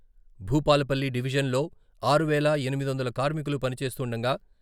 భూపాలపల్లి డివిజన్లో ఆరు వేల ఎనిమిది వందల కార్మికులు పనిచేస్తుండగా..